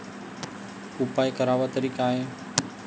उपाय करावा तरी काय?